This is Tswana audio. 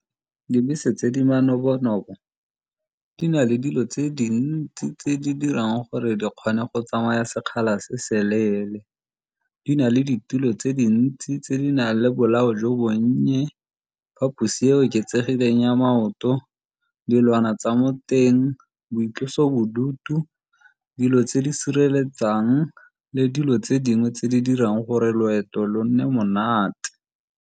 Dibese tse di manobo-nobo di na le dilo tse dintsi tse di dirang gore di kgone go tsamaya sekgala se se leele. Di na le ditulo tse dintsi tse di nang le bolao jo bonnye, diphaposi e oketsegileng ya maoto, dilwana tsa mo teng, boitlosobodutu, dilo tse di sireletsang le dilo tse dingwe tse di dirang gore loeto lo nne monate.